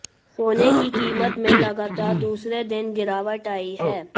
सोने की कीमत में लगातार दूसरे दिन गिरावट आई है